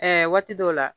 waati dɔw la